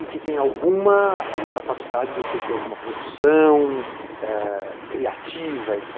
E que tenha alguma capacidade de alguma produção é criativa, etc.